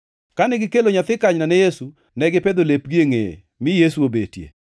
Kane gikelo nyathi kanyna ne Yesu, ne gipedho lepgi e ngʼeye mi Yesu obetie.